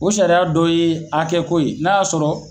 O sariya dɔ ye hakɛ ko ye, n'a y'a sɔrɔ.